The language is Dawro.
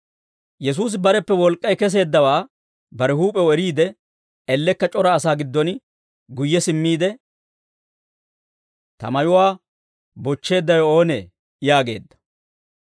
Yesuusi bareppe wolk'k'ay kesseeddawaa bare huup'ew eriide, ellekka c'ora asaa giddon guyye simmiide, «Ta mayuwaa bochcheeddawe oonee?» yaageedda.